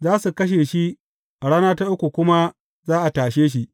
Za su kashe shi, a rana ta uku kuma za a tashe shi.